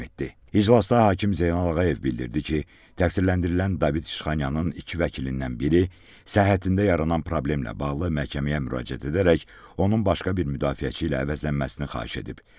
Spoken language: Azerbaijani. İclasda hakim Zeynal Ağayev bildirdi ki, təqsirləndirilən David İşxanyanın iki vəkilindən biri səhhətində yaranan problemlə bağlı məhkəməyə müraciət edərək onun başqa bir müdafiəçi ilə əvəzlənməsini xahiş edib.